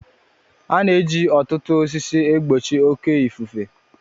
A na-eji ọtụtụ osisi e gbochi oke ifufe